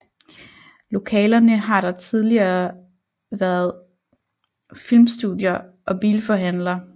Lokalerne har der tidligere været filmstudier og bilforhandler